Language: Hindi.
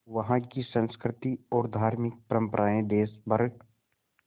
वहाँ की संस्कृति और धार्मिक परम्पराएं देश भर